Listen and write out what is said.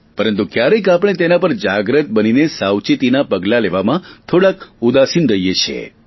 પરંતુ ક્યારેક આપણે તેના પર જાગૃત બનીને સાવચેતીના પગલા લેવામાં થોડા ઉદાસીન રહીએ છીએ